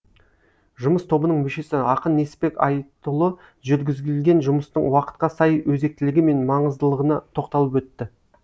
жұмыс тобының мүшесі ақын несіпбек айтұлы жүргізілген жұмыстың уақытқа сай өзектілігі мен маңыздылығына тоқталып өтті